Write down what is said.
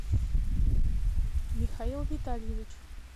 михаил витальевич